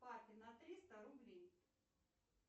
папе на триста рублей